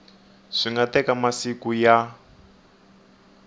swi nga teka masiku ya